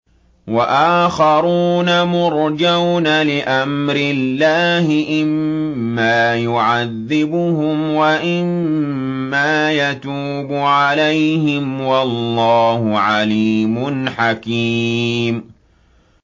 وَآخَرُونَ مُرْجَوْنَ لِأَمْرِ اللَّهِ إِمَّا يُعَذِّبُهُمْ وَإِمَّا يَتُوبُ عَلَيْهِمْ ۗ وَاللَّهُ عَلِيمٌ حَكِيمٌ